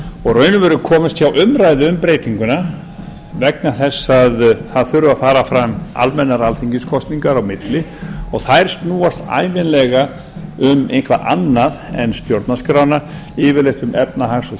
og í raun og veru komist hjá umræðu um breytinguna vegna þess að það þurfi að fara fram almennar alþingiskosningar á milli og þær snúast ævinlega um eitthvað annað en stjórnarskrána yfirleitt um efnahags og